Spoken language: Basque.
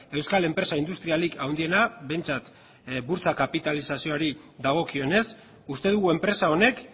euskal enpresa industrialik handiena behintzat burtsa kapitalizazioari dagokionez uste dugu enpresa honek